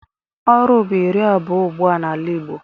Oru bụ iri abụọ ugbua n'ala Igbo.